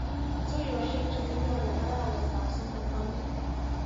Tuiyoshek chekinyoru arawetap somok ko nee?